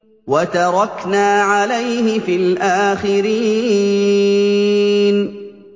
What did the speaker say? وَتَرَكْنَا عَلَيْهِ فِي الْآخِرِينَ